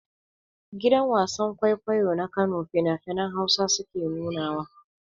Gidan wasan-kwaikwayo na kano fina-finan hausa suke nuna wa.